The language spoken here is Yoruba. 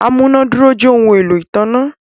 amunàdúró jẹ ohùn èlò ìtanná.